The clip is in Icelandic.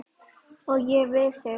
Og ég við þig.